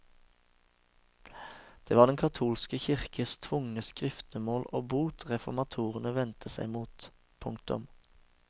Det var den katolske kirkes tvungne skriftemål og bot reformatorene vendte seg mot. punktum